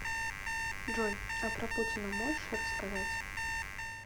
джой а про путина можешь рассказать